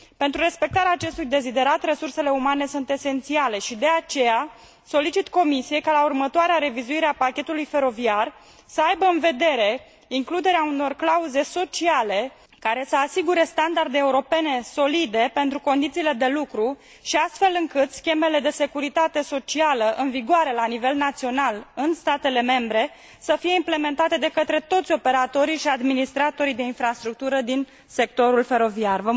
Pentru respectarea acestui deziderat, resursele umane sunt esențiale și, de aceea, solicit Comisiei ca, la următoarea revizuire a pachetului feroviar, să aibă în vedere includerea unor clauze sociale care să asigure standarde europene solide pentru condițiile de lucru, astfel încât schemele de securitate socială, în vigoare la nivel național în statele membre, să fie implementate de către toți operatorii și administratorii de infrastructură din sectorul feroviar.